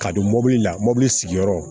Ka don mɔbili la mobili sigiyɔrɔ